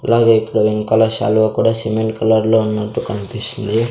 అలాగే ఇక్కడ ఇంకలర్ శాలువా కూడా సిమెంట్ కలర్లో ఉన్నట్టు కన్పిస్తుంది.